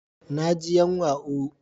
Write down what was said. Na ji yanwa ooo.